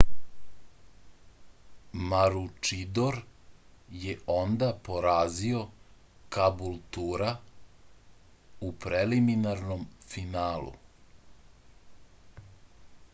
maručidor je onda porazio kabultura u preliminarnom finalu